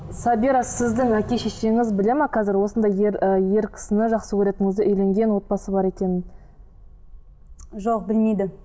сабира сіздің әке шешеңіз біледі ме қазір осындай ер ы ер кісіні жақсы көретініңізді үйленген отбасы бар екенін жоқ білмейді